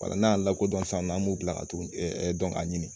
n'an y'a lakodɔn san nɔ an b'u bila ka t'u dɔn k'a ɲini